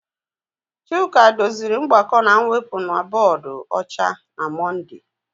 Chuka doziri mgbakọ na mwepụ na bọọdụ ọcha na Mọnde.